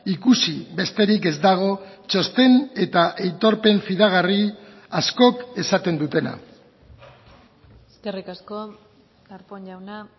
ikusi besterik ez dago txosten eta aitorpen fidagarri askok esaten dutena eskerrik asko darpón jauna